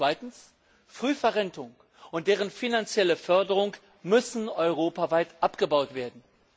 Zweitens Frühverrentung und deren finanzielle Förderung müssen europaweit abgebaut werden.